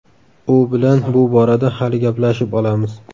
U bilan bu borada hali gaplashib olamiz.